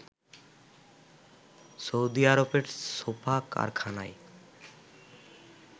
Saudi আরবের sofa কারখানায়